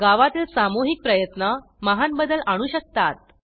गावातील सामूहिक प्रयत्न महान बदल आणू शकतात